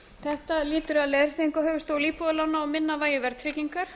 þetta lýtur að leiðréttingu á höfuðstól íbúðalána og minna vægi verðtryggingar